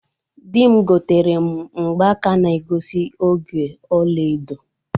Di m gotere m mgbaka na egosi oge ọla edo.